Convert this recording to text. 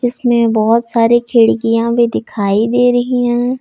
इसमें बहुत सारे खिड़कियां भी दिखाई दे रही हैं।